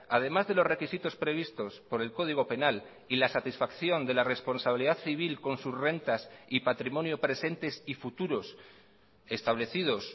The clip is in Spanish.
además de los requisitos previstos por el código penal y la satisfacción de la responsabilidad civil con sus rentas y patrimonio presentes y futuros establecidos